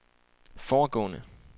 foregående